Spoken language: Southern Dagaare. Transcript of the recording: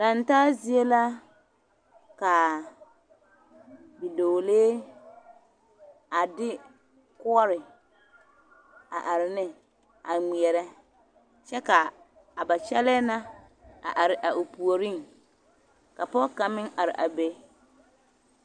Laŋ taa zie la ka bidɔɔlee a de koɔre a are ne a ŋmeɛrɛ kyɛ k,a ba kyɛlɛɛ na are a o puoriŋ ka pɔge kaŋ meŋ are a be.